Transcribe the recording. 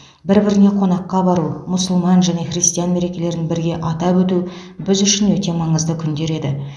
бір біріне қонаққа бару мұсылман және христиан мерекелерін бірге атап өту біз үшін өте маңызды күндер еді